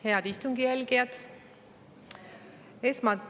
Head istungi jälgijad!